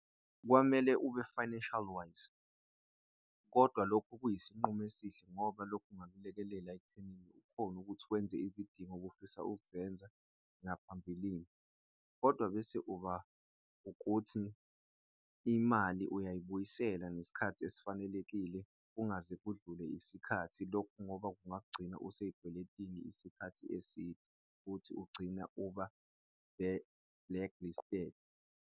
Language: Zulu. Kwamele ube-financial wise kodwa lokho kuyisinqumo esihle ngoba lokhu kunga kulekelela ekuthenini ukhone ukuthi wenze izidingo bufisa ukuzenza ngaphambilini kodwa bese uba ukuthi imali uyayibuyisela ngesikhathi esifanelekile kungaze kudlule isikhathi lokhu ngoba kunga kugcina usezikweletini isikhathi eside futhi ugcina uba blacklisted.